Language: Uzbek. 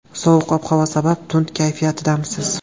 Sovuq ob-havo sabab tund kayfiyatdamisiz?